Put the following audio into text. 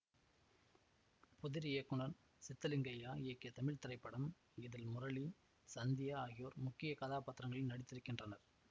புதிர் இயக்குனர் சித்தலிங்கையா இயக்கிய தமிழ் திரைப்படம் இதில் முரளி சந்தியா ஆகியோர் முக்கிய கதாபாத்திரங்களில் நடித்திருக்கின்றனர்